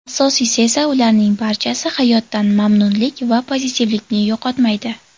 Asosiysi esa ularning barchasi hayotdan mamnunlik va pozitivlikni yo‘qotmaydi.